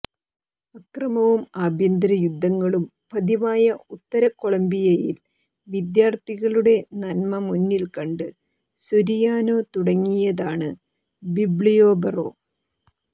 അക്രമവും ആഭ്യന്തരയുദ്ധങ്ങളും പതിവായ ഉത്തര കൊളംമ്പിയയിൽ വിദ്യാർത്ഥികളുടെ നന്മ മുന്നിൽ കണ്ട് സൊരിയാനോ തുടങ്ങിയതാണ് ബിബ്ലിയോബറോ